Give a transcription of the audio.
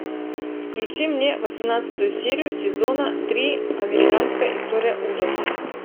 включи мне восемнадцатую серию сезона три американская история ужасов